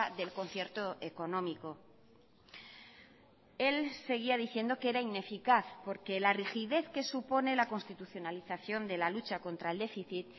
del concierto económico él seguía diciendo que era ineficaz porque la rigidez que supone la constitucionalización de la lucha contra el déficit